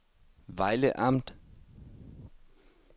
Vejle Amt